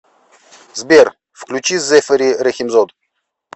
сбер включи зэфэри рэхимзод